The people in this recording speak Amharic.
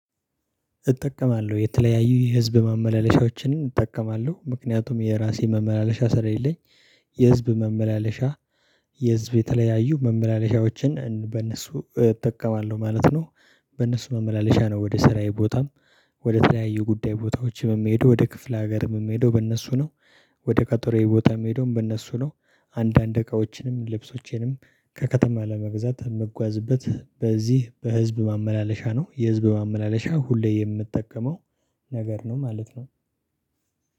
እጠቀማለሁ የተለያዩ የህዝብ ማመላለሻዎችንም እጠቀማለሁ ምክንያቱም የራሴ መመላለሻ ስለሌለኝ የህዝብ መመላለሻ የህዝብ የተለያዩ መመላለሻዎችን በእነሱ እጠቀማለሁ ማለት ነው። በእነሱ መመላለሻ ነው ወደ ስራዬ ቦታም ወደ ተለያዩ ጉዳይ ቦታዎችም የሚሄዱ ወደ ክፍለ ሀገርም የምሄደው በእነሱ ነው። ወደ ከጦሬ ቦታም የምሄደውም በእነሱ ነው። አንዳንድ እቃዎችንም ልብሶቼንም ከከተማ ለመግዛት መጓዝበት በዚህ በህዝብ ማመላለሻ ነው የህዝብ ማመላለሻ ሁሌ የምጠቀመው ነገር ነው ማለት ነው።